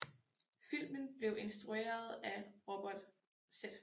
Filmen blev instrueret af Robert Z